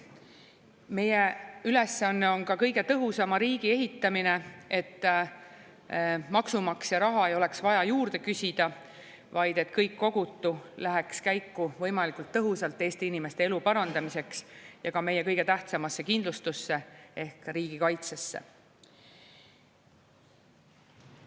Meie ülesanne on ka kõige tõhusama riigi ehitamine, et maksumaksja raha ei oleks vaja juurde küsida, vaid et kõik kogutu läheks käiku võimalikult tõhusalt Eesti inimeste elu parandamiseks ja ka meie kõige tähtsamasse kindlustusse ehk riigikaitsesse.